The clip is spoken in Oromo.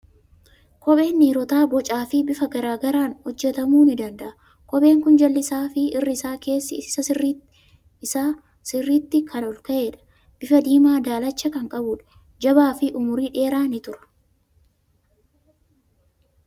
Kopheen dhiirotaa bocaa fi bifa garaa garaan hojjetamuu ni danda'a. Kopheen kun jalli isaa fi irri keessi isaa sirriitti kan ol ka'edha. Bifa diimaa daalacha kan qabudha. Jabaa fi umurii dheeraa ni tura.